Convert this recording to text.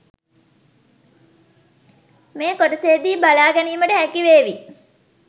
මේ කොටසේදී බලා ගැනීමට හැකිවේවී.